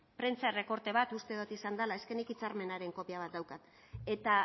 prentsa errekorte bat uste dot izan dela eske nik hitzarmenaren kopia bat daukat eta